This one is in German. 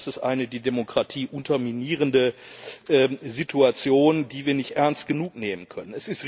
Und das ist eine die Demokratie unterminierende Situation, die wir nicht ernst genug nehmen können.